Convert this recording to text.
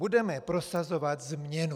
Budeme prosazovat změnu.